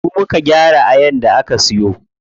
Mu muka gyara ayan da aka siyo.